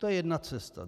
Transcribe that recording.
To je jedna cesta.